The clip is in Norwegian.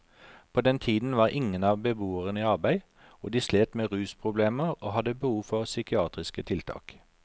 På den tiden var ingen av beboerne i arbeid og de slet med rusproblemer og hadde behov for psykiatriske tiltak.